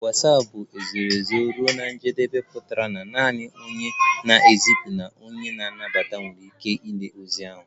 Watsapụ bụ ezoro ezo ruo na njedebe pụtara naanị onye na-ezipụ na onye nata nwere ike ịlele ozi ndị ahụ